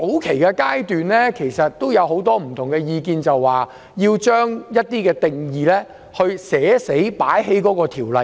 其實在早期有很多不同意見，認為要將一些定義納入條例之中。